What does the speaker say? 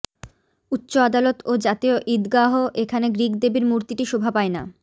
উচ্চ আদালত ও জাতীয় ঈদগাহ এখানে গ্রিক দেবীর মূর্তিটি শোভা পায় না